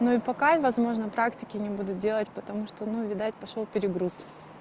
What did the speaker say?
ну и пока и возможно практики не буду делать потому что ну видать пошёл перегруз